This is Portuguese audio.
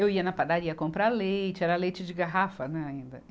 Eu ia na padaria comprar leite, era leite de garrafa, né ainda.